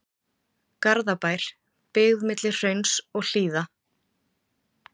Garðabær, byggð milli hrauns og hlíða.